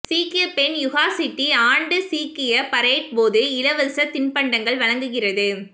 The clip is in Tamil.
சீக்கிய பெண் யுகா சிட்டி ஆண்டு சீக்கிய பரேட் போது இலவச தின்பண்டங்கள் வழங்குகிறது